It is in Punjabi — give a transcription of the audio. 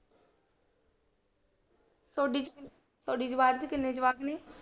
ਤੁਹਾਡੀ ਚ ਤੁਹਾਡੀ ਜਮਾਤ ਚ ਕਿੰਨੇ ਜਵਾਕ ਨੇ?